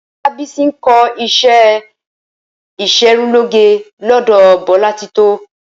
Olábísí ń kó̩ is̩é ìs̩erunlóge ló̩dò̩ Bo̩látitó